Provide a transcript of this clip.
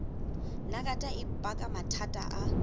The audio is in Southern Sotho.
nagata e baka mathata a